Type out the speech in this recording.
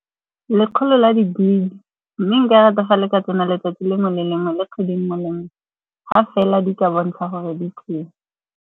Lekgolo la di-gig-e. Mme nka rata fa le ka tsena letsatsi lengwe le lengwe la kgwedi nngwe le nngwe. Ga fela di ka bontsha gore di teng.